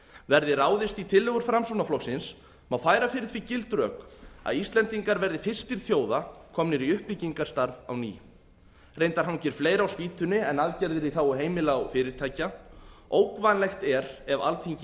verði ráðist í tillögur framsóknarflokksins má færa fyrir því gild rök að íslendingar verði fyrstir þjóða komnir í uppbyggingarstarf á ný reyndar hangir fleira á spýtunni en aðgerðir í þágu heimila og fyrirtækja ógnvænlegt er ef alþingi